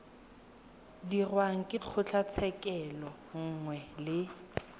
dirwang ke kgotlatshekelo nngwe le